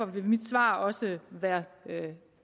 mit svar også vil